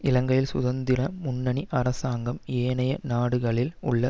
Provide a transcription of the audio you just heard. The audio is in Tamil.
இலங்கையில் சுதந்திர முன்னணி அரசாங்கம் ஏனைய நாடுகளில் உள்ள